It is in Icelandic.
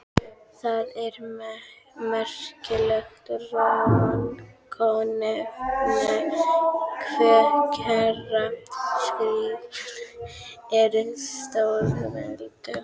Það er merkilegt rannsóknarefni hve kærar skrúðgöngur eru stórveldum.